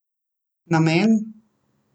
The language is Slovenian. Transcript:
Namen?